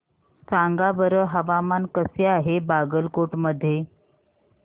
सांगा बरं हवामान कसे आहे बागलकोट मध्ये